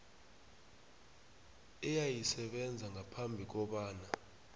eyayisebenza ngaphambi kobana